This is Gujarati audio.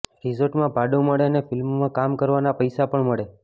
રિસોર્ટમાં ભાડું મળે અને ફિલ્મમાં કામ કરવાના પૈસા પણ મળે